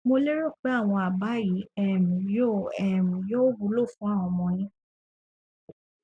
mo lérò pé àwọn àbá yìí um yóò um yóò wúlò fún ọmọ yín